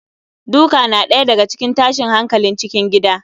Duka na ɗaya daga cikin tashin hankalin cikin gida